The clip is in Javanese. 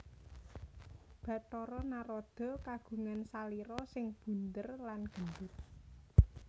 Bathara Narada kagungan salira sing bundér lan gendut